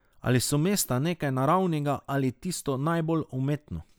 Ali so mesta nekaj naravnega ali tisto najbolj umetno?